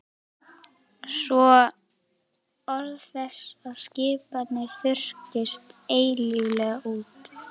Svo orð þess og skipanir þurrkist eilíflega út.